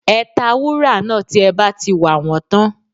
Ẹ ta wúrà náà tí ẹ bá ti wà wọ́n tán